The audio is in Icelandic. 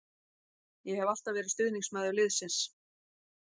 Ég hef alltaf verið stuðningsmaður liðsins.